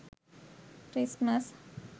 christmas